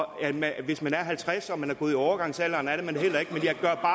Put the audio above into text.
nej hvis man er halvtreds år og man er gået i overgangsalderen er man det